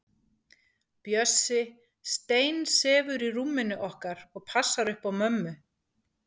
Bjössi steinsefur í rúminu okkar og passar upp á mömmu.